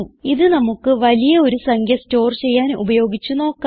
ഇത് നമുക്ക് വലിയ ഒരു സംഖ്യ സ്റ്റോർ ചെയ്യാൻ ഉപയോഗിച്ച് നോക്കാം